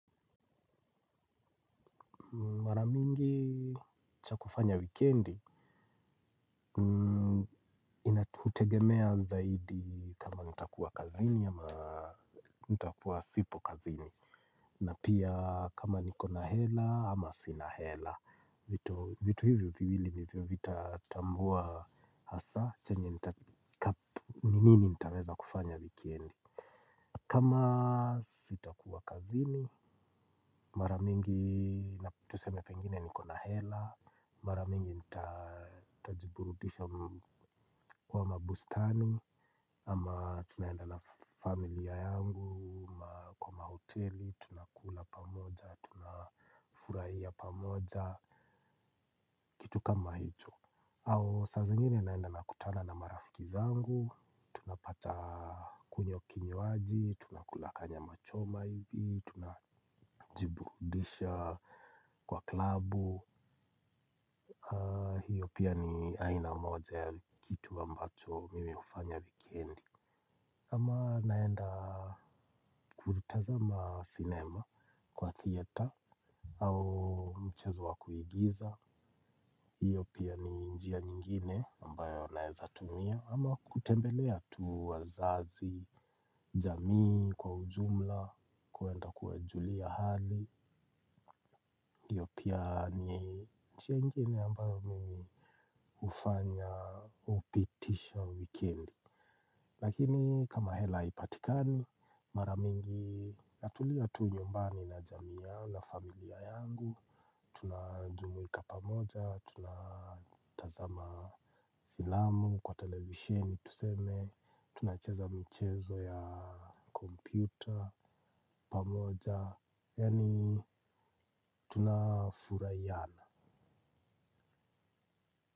Mara mingi cha kufanya wikendi kutegemea zaidi kama nitakuwa kazini ama nitakuwa sipo kazini. Na pia kama niko na hela ama sina hela. Vitu hivyo viwili nivyo vitatambua hasa chenye nini nitaweza kufanya wikendi. Kama sitakuwa kazini maramingi na tuseme pengine niko na hela. Maramingi nitajiburudisha kwa mabustani. Ama tunaenda na familia yangu. Kwa mahoteli, tunakula pamoja. Tunafurahia pamoja. Kitu kama hicho. Au saa zingine naenda nakutana na marafiki zangu. Tunapata kunywa kinywaji. Tunakula kanyama choma hivi. Tunajiburudisha kwa klabu. Hiyo pia ni aina moja kitu ambacho mimi hufanya wikendi. Ama naenda kutazama sinema kwa theater au mchezo wa kuigiza hiyo pia ni njia nyingine ambayo naezatumia ama kutembelea tu wazazi jamii kwa ujumla kuenda kuwajulia hali. Hiyo pia ni njia nyingine ambayo mimi hufanya hupitisha wikendi. Lakini kama hela haipatikani maramingi natulia tu nyumbani na jamii yangu na familia yangu. Tunajumuika pamoja tunatazama filamu kwa televisheni tuseme tunacheza mchezo ya kompyuta pamoja. Yaani tunafurahiana.